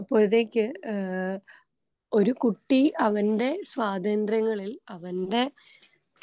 അപ്പോഴത്തേക്ക് ഏ ഒരു കുട്ടി അവന്റെ സ്വാതന്ത്രങ്ങളിൽ അവന്റെ